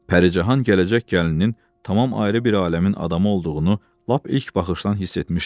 Pərican gələcək gəlininin tamam ayrı bir aləmin adamı olduğunu lap ilk baxışdan hiss etmişdi.